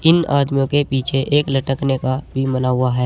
इन आदमियों के पीछे एक लटकने का बीम बना हुआ है।